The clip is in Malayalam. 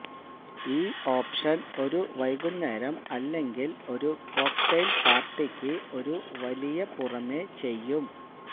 ഈ ഓപ്ഷൻ ഒരു വൈകുന്നേരം അല്ലെങ്കിൽ ഒരു കോക്ടെയ്ൽ പാർട്ടിക്ക് ഒരു വലിയ പുറമേ ചെയ്യും